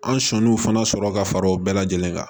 An sɔnn'u fana sɔrɔ ka fara o bɛɛ lajɛlen kan